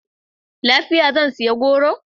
Lafiya! Zan sayi goro.